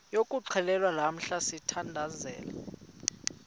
yokuxhelwa lamla sithandazel